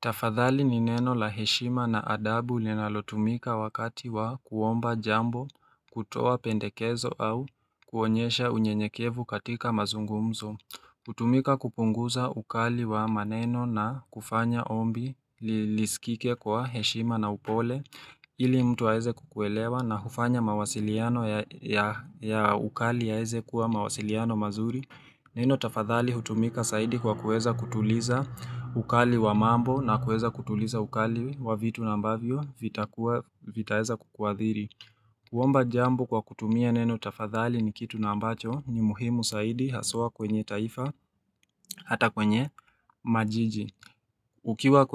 Tafadhali ni neno la heshima na adabu linalotumika wakati wa kuomba jambo, kutoa pendekezo au kuonyesha unyenyekevu katika mazungumzo. Hutumika kupunguza ukali wa maneno na kufanya ombi lisikike kwa heshima na upole ili mtu aweze kukuelewa na hufanya mawasiliano ya ukali yaweze kuwa mawasiliano mazuri. Neno tafadhali hutumika zaidi kwa kuweza kutuliza ukali wa mambo na kueza kutuliza ukali wa vitu na ambavyo vitakuwa vitaweza kuwaadhiri. Kuomba jambo kwa kutumia neno tafadhali ni kitu na ambacho ni muhimu zaidi haswa kwenye taifa hata kwenye majiji. Ukiwa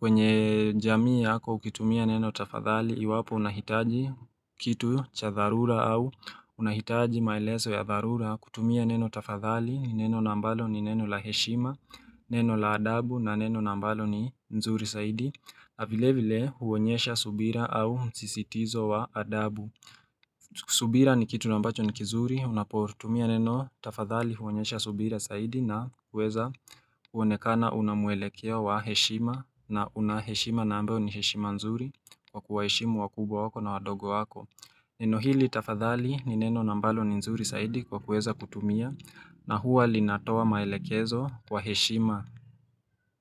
kwenye jamii yako ukitumia neno tafadhali iwapo unahitaji kitu cha dharura au unahitaji maelezo ya dharura kutumia neno tafadhali neno na mbalo ni neno la heshima neno la adabu na neno na mbalo ni nzuri zaidi na vile vile huonyesha subira au msisitizo wa adabu subira ni kitu na mbacho ni kizuri unapotumia neno tafadhali huonyesha subira zaidi na hueza kuonekana una mwelekeo wa heshima na unaheshima na ambayo ni heshima nzuri Kwa kuwaheshimu wakubwa wako na wadogo wako Neno hili tafadhali ni neno na mbalo ni nzuri zaidi Kwa kuweza kutumia na huwa linatoa maelekezo wa heshima.